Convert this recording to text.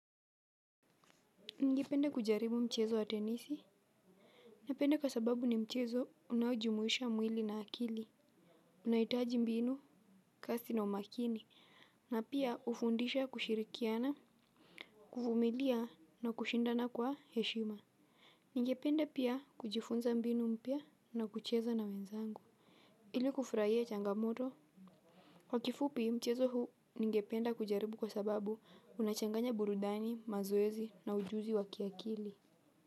Nigepende kujaribu mchezo wa tenisi? Ninepende kwa sababu ni mchezo unaojumuisha mwili na akili. Unahitaji mbinu, kasi na umakini. Na pia hufundisha kushirikiana, kuvumilia na kushindana kwa heshima. Ningepende pia kujifunza mbinu mpya na kucheza na wenzangu. Ili kufurahia changamoto? Kwa kifupi, mchezo huu ningepende kujaribu kwa sababu unachanganya burudani, mazoezi na ujuzi wa kiakili.